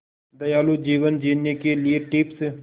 दयालु जीवन जीने के लिए टिप्स